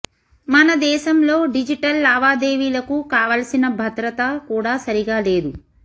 మన దేశంలో డిజిటల్ లావాదేవీలకు కావలసిన భద్రత కూడా సరిగా లేదు